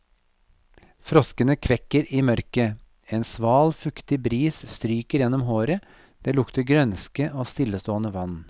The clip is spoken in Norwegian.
Froskene kvekker i mørket, en sval, fuktig bris stryker gjennom håret, det lukter grønske og stillestående vann.